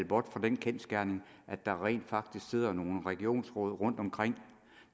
bort fra den kendsgerning at der rent faktisk sidder nogle regionsråd rundtomkring